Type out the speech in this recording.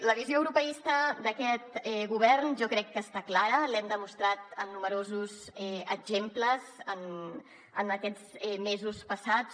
la visió europeista d’aquest govern jo crec que està clara l’hem demostrat en nombrosos exemples en aquests mesos passats